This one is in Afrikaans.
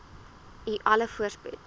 u alle voorspoed